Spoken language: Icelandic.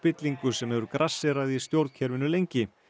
spillingu sem hefur grasserað í stjórnkerfinu lengi